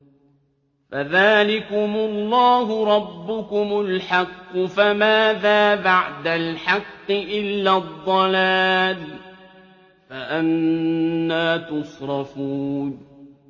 فَذَٰلِكُمُ اللَّهُ رَبُّكُمُ الْحَقُّ ۖ فَمَاذَا بَعْدَ الْحَقِّ إِلَّا الضَّلَالُ ۖ فَأَنَّىٰ تُصْرَفُونَ